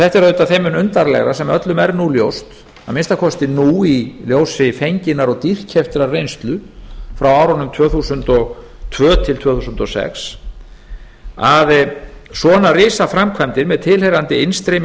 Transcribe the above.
þetta er auðvitað þeim mun undarlegra þar sem öllum er nú ljóst að minnsta kosti nú í ljósi fenginnar og dýrkeyptrar reynslu frá árunum tvö þúsund og tvö til tvö þúsund og sex að svona risaframkvæmdir með tilheyrandi innstreymi